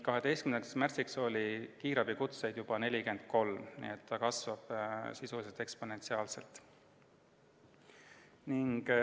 12. märtsil oli kiirabikutseid juba 43, nii et levik kasvas sisuliselt eksponentsiaalselt.